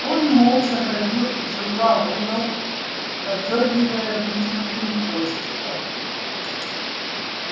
он молча ходил из угла в угол подргивая вытянутым хвостиком